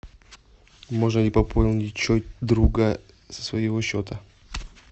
можно ли пополнить счет друга со своего счета